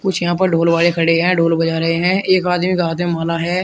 कुछ यहां पे ढोल वाले खड़े है ढोल बजा रहे है एक आदमी के हाथे में माला है।